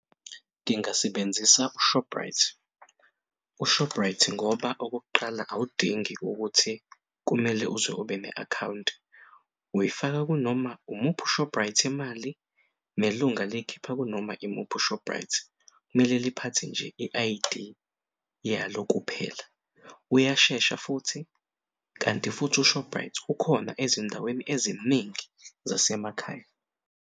Ngingasebenzisa u-Shoprite, uShoprite ngoba okokuqala awudingi ukuthi kumele uze ube ne-akhawunti uyifaka kunoma umuphi u-Shoprite imali nelunga liy'khipha kunoma imuphi u-Shoprite mele liphethe nje i-I_D yalo kuphela. Uyashesha futhi kanti futhi u-Shoprite ukhona ezindaweni eziningi zasemakhaya.